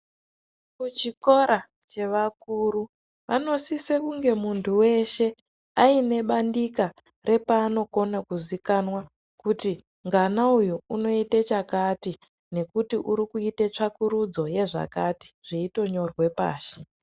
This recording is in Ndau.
Kuchikora chevakuru vanosise kunge muntu weshe aine bandika repaanokona kuzikanwa kuti ngana uyu unoite chakati, nekuti urikuite tsvakurudzo dzezvakati, zveitonyorwe pashi.